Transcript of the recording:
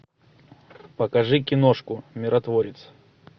покажи киношку миротворец